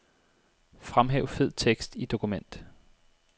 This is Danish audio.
Fremhæv fed tekst i dokument.